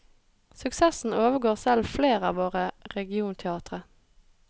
Suksessen overgår selv flere av våre regionteatre.